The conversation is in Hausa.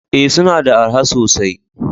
Ee, suna da araha sosai?